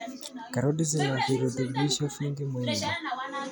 Karoti zina virutubisho vingi muhimu.